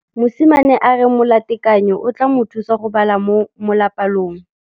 Mosimane a re molatekanyô o tla mo thusa go bala mo molapalong.